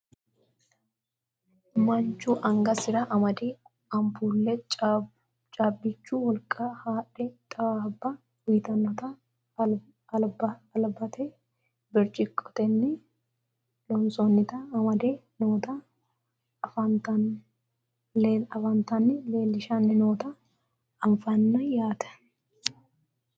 manchu angasira amade anpuulle caabbichu wolqa haadhe xawaabba uyiitannota albita birciqqotenni lonsoonnita amade noota anfannita leellishanni noota anfanni yaate .